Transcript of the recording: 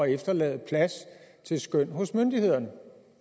efterlade plads til skøn hos myndighederne